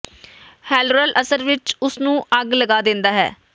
ਹੈਲਰਰ ਅਸਲ ਵਿਚ ਉਸ ਨੂੰ ਅੱਗ ਲਗਾ ਦਿੰਦਾ ਹੈ